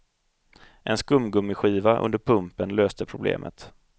En skumgummiskiva under pumpen löste problemet.